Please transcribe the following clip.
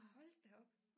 Hold da op